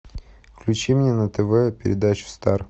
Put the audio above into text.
включи мне на тв передачу стар